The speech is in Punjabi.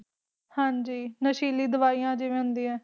ਹਾਂ ਜੀ ਨਸ਼ੀਲੀ ਦਵਾਈਆਂ ਜਿਵੇਂ ਹੁੰਦੀਆਂ